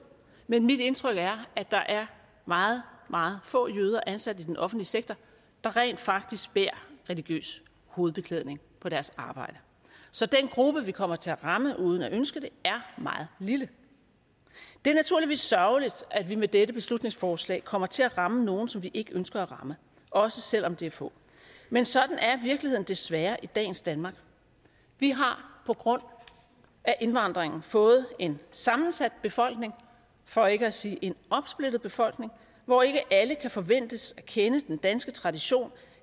men mit indtryk er at der er meget meget få jøder ansat i den offentlige sektor der rent faktisk bærer religiøs hovedbeklædning på deres arbejde så den gruppe vi kommer til at ramme uden at ønske det er meget lille det er naturligvis sørgeligt at vi med dette beslutningsforslag kommer til at ramme nogle som vi ikke ønsker at ramme også selv om det er få men sådan er virkeligheden desværre i dagens danmark vi har på grund af indvandringen fået en sammensat befolkning for ikke at sige en opsplittet befolkning hvor ikke alle kan forventes at kende den danske tradition